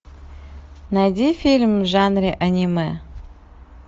найди фильм в жанре аниме